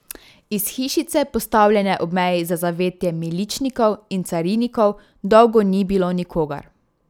Iz hišice, postavljene ob meji za zavetje miličnikov in carinikov, dolgo ni bilo nikogar.